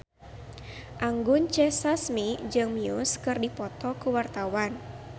Anggun C. Sasmi jeung Muse keur dipoto ku wartawan